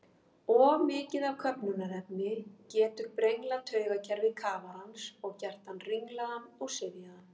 Of mikið af köfnunarefni getur brenglað taugakerfi kafarans og gert hann ringlaðan og syfjaðan.